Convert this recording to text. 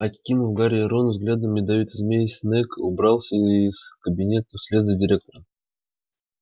окинув гарри и рона взглядом ядовитой змеи снегг убрался из кабинета вслед за директором